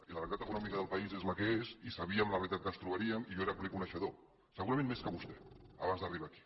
i la realitat econòmica del país és la que és i sabíem la realitat que ens trobaríem i jo n’era ple coneixedor segurament més que vostè abans d’arribar aquí